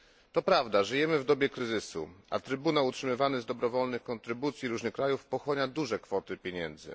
To prawda, żyjemy w dobie kryzysu, a Trybunał utrzymywany z dobrowolnych kontrybucji różnych krajów pochłania duże kwoty pieniędzy.